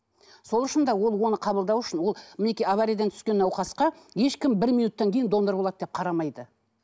сол үшін де ол оны қабылдау үшін ол мінекей авариядан түскен науқасқа ешкім бір минуттан кейін донор болады деп қарамайды